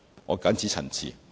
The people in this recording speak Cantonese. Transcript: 我謹此陳辭。